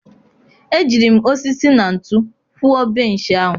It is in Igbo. Ejiri m osisi na ntu kwụọ benchị ahụ.